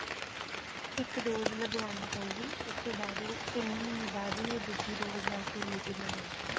ਇੱਕ dose ਲਗਵਾਉਣੀ ਪਊਗੀ ਉਸ ਤੋਂ ਬਾਅਦ ਉਹ ਤਿੰਨ ਮਹੀਨੇ ਬਾਅਦ ਹੀ ਉਹ ਦੂਜੇ dose ਵਾਸਤੇ eligible ਰਹੇਗਾ।